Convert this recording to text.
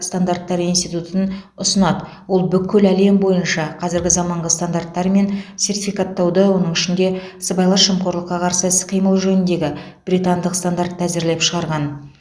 стандарттар институтын ұсынады ол бүкіл әлем бойынша қазіргі заманғы стандарттар мен сертификаттауды оның ішінде сыбайлас жемқорлыққа қарсы іс қимыл жөніндегі британдық стандартты әзірлеп шығарған